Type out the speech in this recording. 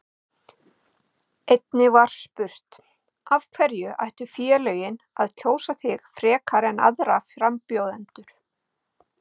Einnig var spurt: Af hverju ættu félögin að kjósa þig frekar en aðra frambjóðendur?